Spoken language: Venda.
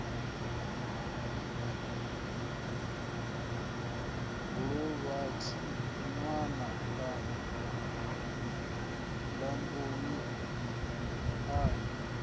suvhani ṅwananga lambani a ni